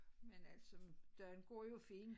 Men altså den går jo fint